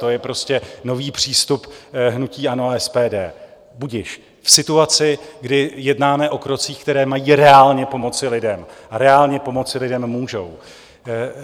To je prostě nový přístup hnutí ANO a SPD - budiž - v situaci, kdy jednáme o krocích, které mají reálně pomoci lidem a reálně pomoci lidem můžou.